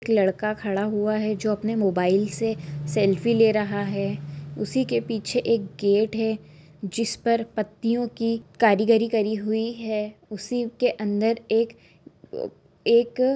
एक लड़का खड़ा हुआ है जो अपने मोबाइल से सेल्फी ले रहा है उसी के पीछे एक गेट है जिस पर पत्तियो की कारीगरी करी हुई है उसी के अंदर एक- क एक--